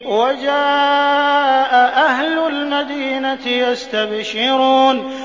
وَجَاءَ أَهْلُ الْمَدِينَةِ يَسْتَبْشِرُونَ